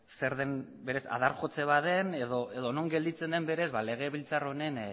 zer den berez adar jotze bat den edo non gelditzen den berez legebiltzar honen